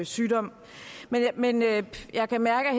sygdom ved men jeg kan mærke at